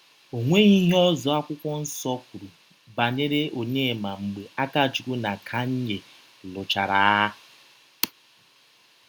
Ọ nweghị ihe ọzọ Akwụkwọ Nsọ kwuru banyere Ọnyema mgbe Akachụkwụ na Kanye lụchara agha.